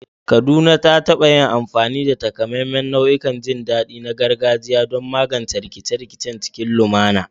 Kaduna ta taɓa yin amfani da takamaiman nau'ikan jin daɗi na gargajiya don magance rikice-rikice cikin lumana.